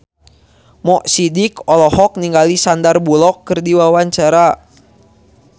Mo Sidik olohok ningali Sandar Bullock keur diwawancara